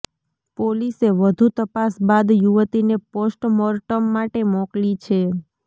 પોલીસે વધુ તપાસ બાદ યુવતીને પોસ્ટ મોર્ટમ માટે મોકલી છે